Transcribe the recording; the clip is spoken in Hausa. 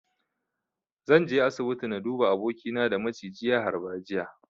Zan je asibiti na duba abokina da maciji ya harba jiya.